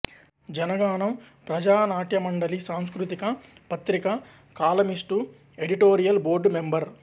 జనగానం ప్రజానాట్యమండలి సాంస్కృతిక పత్రిక columnist editorial board member